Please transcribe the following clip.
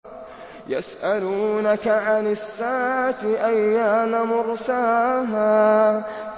يَسْأَلُونَكَ عَنِ السَّاعَةِ أَيَّانَ مُرْسَاهَا